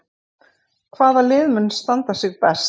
Hvaða lið mun standa sig best?